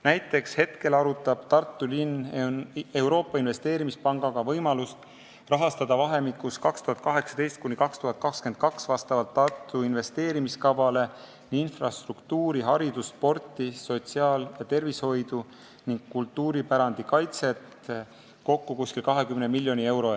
Näiteks praegu arutab Tartu linn Euroopa Investeerimispangaga võimalust rahastada vahemikus 2018–2022 vastavalt Tartu investeerimiskavale infrastruktuuri-, haridus-, spordi-, sotsiaal- ja tervishoiuvaldkonda ning kultuuripärandi kaitset kokku umbes 20 miljoni euroga.